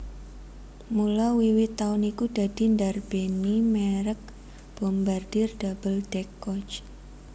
Mula wiwit taun iku dadi ndarbèni mèrek Bombardier Double deck Coach